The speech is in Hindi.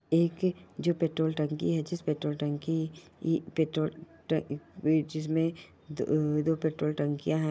ये एक जो पेट्रोल टंकी है जिस पेट्रोल टंकी जिसमे दो पेट्रोल टंकिया हैं।